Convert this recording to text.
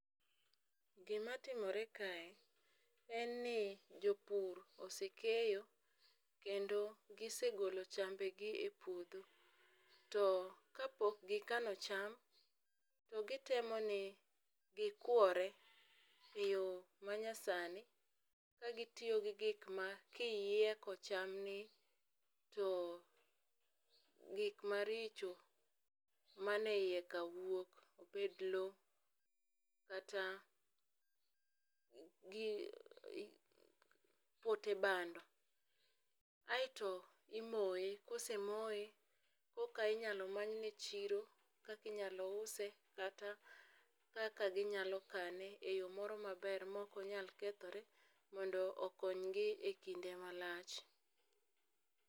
Gima timore kae, en ni, jopur osekeyo. Kendo gisegolo chambe gi e puodho. To kapok gikano cham, to gitemo ni gikwore e yo ma nyasani, ka gitiyo gi gik ma kiyieko chamni, to gik maricho mani e iye ka wuok obed lowo kata pote bando. Aeto imoye, kosemoye koka inyalo manyne chiro, kaka inyalo use, kata kaka ginyalo kane, e yo moro maber, ma ok onyal kethore. Mondo okony gi e kinde malach.